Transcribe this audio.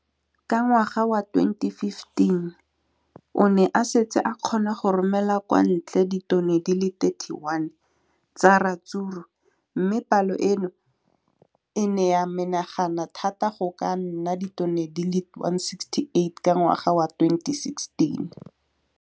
Ka ngwaga wa 2015, o ne a setse a kgona go romela kwa ntle ditone di le 31 tsa ratsuru mme palo eno e ne ya menagana thata go ka nna ditone di le 168 ka ngwaga wa 2016.